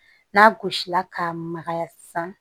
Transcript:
N'a gosila k'a magaya sisan